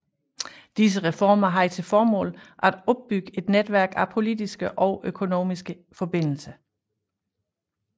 Disse reformer havde til formål at opbygge et netværk af politiske og økonomiske forbindelser